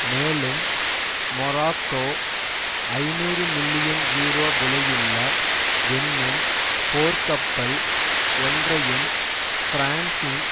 மேலும் மொராக்கோ ஐநூறு million euro விலையுள்ள என்னும் போர்க்கப்பல் ஒன்றையும் பிரான்சின்